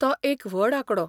तो एक व्हड आंकडो !